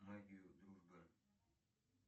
магию дружбы